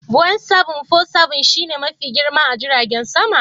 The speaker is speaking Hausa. "Boeing 747" shi ne Mafi girma a jiragen sama?